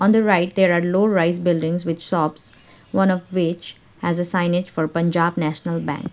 in the right there are low rise buildings with shops one of which has a signage for punjab national bank.